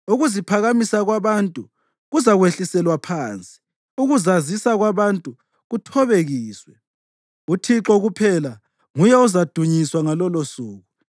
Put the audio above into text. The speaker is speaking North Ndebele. Ukuziphakamisa kwabantu kuzakwehliselwa phansi, ukuzazisa kwabantu kuthobekiswe; uThixo kuphela nguye ozadunyiswa ngalolosuku,